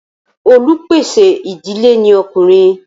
olupèsè ìdílé ní Ọkùnrin.